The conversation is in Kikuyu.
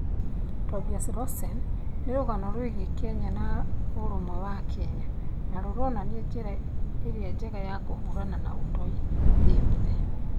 "TOBIAS ROSEN" nĩ rũgano rwĩgiĩ Kenya na ũrũmwe wa akenya, na rũronania njĩra ĩrĩa njega ya kũhũrana na ũtoi thĩ yothe.